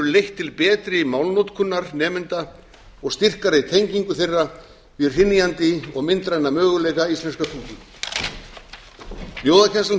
leitt til betri málnotkunar nemenda og styrkari tengingu þeirra við hrynjandi og myndræna möguleika íslenskrar tungu ljóðakennslan